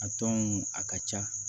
A tɔ mun a ka ca